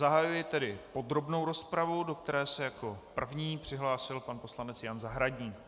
Zahajuji tedy podrobnou rozpravu, do které se jako první přihlásil pan poslanec Jan Zahradník.